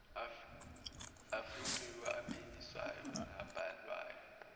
afingqiwe aphinyiswayo nabhalwayo